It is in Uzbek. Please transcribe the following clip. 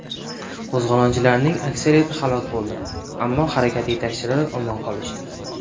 Qo‘zg‘olonchilarning aksariyati halok bo‘ldi, ammo harakat yetakchilari omon qolishdi.